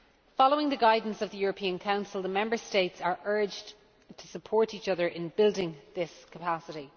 Following the guidance of the European Council, the Member States are urged to support each other in building this capacity.